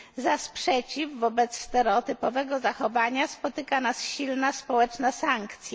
Za sprzeciw wobec stereotypowego zachowania spotyka nas silna społeczna sankcja.